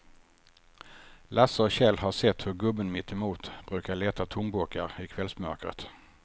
Lasse och Kjell har sett hur gubben mittemot brukar leta tomburkar i kvällsmörkret.